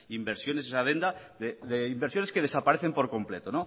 inversiones en esa adenda de inversiones que desaparecen por completo